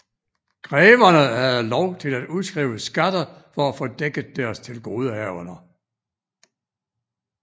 Greverne havde lov til at udskrive skatter for at få dækket deres tilgodehavender